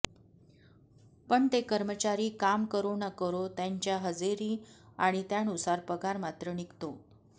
पण ते कर्मचारी काम करो न करो त्यांच्या हजेरी आणि त्यानुसार पगार मात्र निघतो